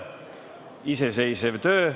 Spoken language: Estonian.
Iseseisev töö.